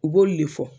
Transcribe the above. U b'olu de fɔ